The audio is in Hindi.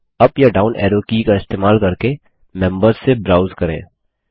अप या डाउन एरो की का इस्तेमाल करके मेम्बर्स से ब्राउज करें